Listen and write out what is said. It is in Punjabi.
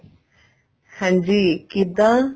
ਹਾਂਜੀ ਕਿੱਦਾਂ